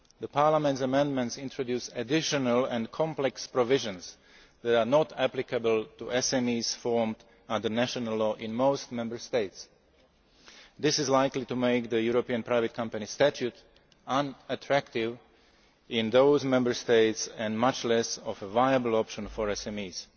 Parliament's amendments introduce additional and complex provisions that are not applicable to SMEs formed under national law in most Member States. This is likely to make the European Private Company Statute unattractive in those Member States and a much less viable option for